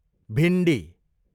भिन्डी